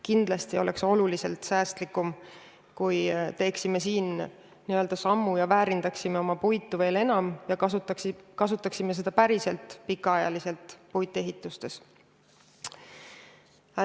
Kindlasti oleks oluliselt säästlikum, kui astuksime veel ühe sammu ja väärindaksime oma puitu veel enam, kasutades seda päriselt pikaajalistes puitehitistes.